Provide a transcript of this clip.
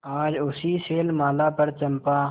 आज उसी शैलमाला पर चंपा